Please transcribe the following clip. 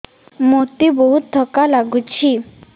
ମୋତେ ବହୁତ୍ ଥକା ଲାଗୁଛି